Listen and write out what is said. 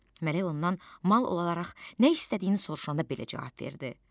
Mələk ondan mal olaraq nə istədiyini soruşanda belə cavab verdi: